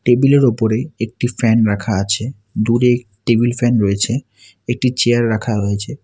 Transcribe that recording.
Table -এর ওপরে একটি ফ্যান রাখা আছে দূরে একটি টেবিল ফ্যান রয়েছে একটি চেয়ার রাখা হয়েছে।